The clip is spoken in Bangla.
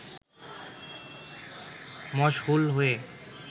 মশহুল হয়ে